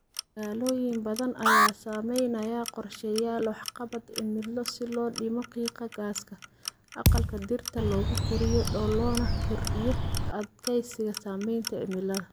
Magaalooyin badan ayaa samaynaya qorshayaal waxqabad cimilo si loo dhimo qiiqa gaaska aqalka dhirta lagu koriyo loona kordhiyo adkaysiga saamaynta cimilada.